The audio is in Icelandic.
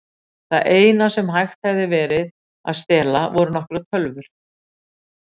Það eina sem hægt hefði verið að stela voru nokkrar tölvur.